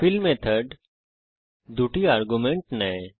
feel method দুটি argument নেয়